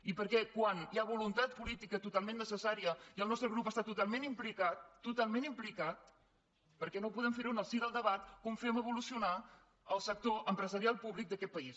i per què quan hi ha voluntat política totalment necessària i el nostre grup hi està totalment implicat totalment implicat per què no podem ferho en el si del debat com fem evolucionar el sector empresarial públic d’aquest país